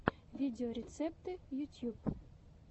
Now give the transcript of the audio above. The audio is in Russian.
видеорецепты ютьюб